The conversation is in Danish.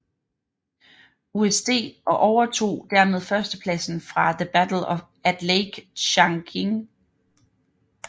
USD og overtog dermed førstepladsen fra The Battle at Lake Changjin